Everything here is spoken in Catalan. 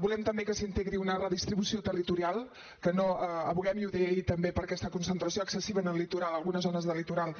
volem també que s’integri una redistribució territorial que no advoquem i ho deia ahir també per aquesta concentració excessiva en el litoral en algunes zones del litoral